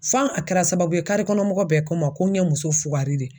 F'an a kɛra sababu ye, kare kɔnɔ mɔgɔ bɛɛ ko n ma ko n ɲɛ muso fugari de ye.